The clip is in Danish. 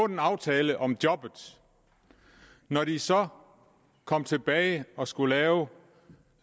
en aftale om jobbet og når de så kom tilbage og skulle lave